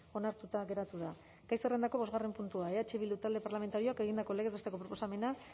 onartuta geratu da gai zerrendako bosgarren puntua eh bildu talde parlamentarioak egindako legez besteko proposamena